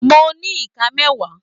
Mo ní iká mẹwa.